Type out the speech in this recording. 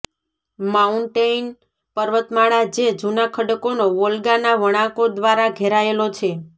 mountain પર્વતમાળા જે જુના ખડકોનો વોલ્ગા ના વણાંકો દ્વારા ઘેરાયેલો છે